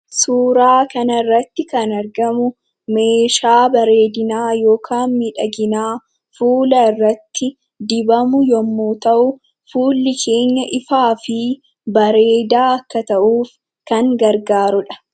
Suuraa kanarratti kan argamu meeshaa bareedinaa yookaan miidhaginaa fuula irratti dibamu yommuu ta'u, fuulli keenya ifaa fi bareedaa akka ta'uuf kan gargaarudha.